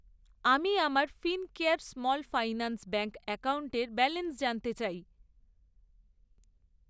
আমি আমার Fincare small finance bank অ্যাকাউন্টের ব্যালেন্স জানতে চাই।